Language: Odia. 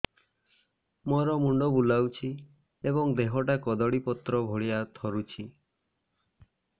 ମୋର ମୁଣ୍ଡ ବୁଲାଉଛି ଏବଂ ଦେହଟା କଦଳୀପତ୍ର ଭଳିଆ ଥରୁଛି